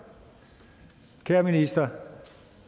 kære minister